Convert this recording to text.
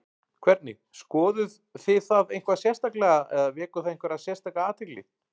Hvernig, skoðuð þið það eitthvað sérstaklega eða vekur það einhverja sérstaka athygli?